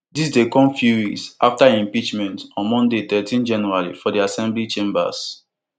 dis dey come few weeks afta im impeachment on monday thirteen january for di assembly chambers